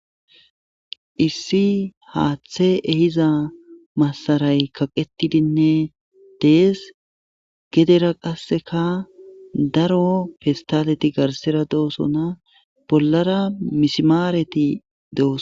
issi haaththe ehiza masaray kaqetidinne dees geddera qasseka daro festaleti garssera doosona bollara misimaareti doosonna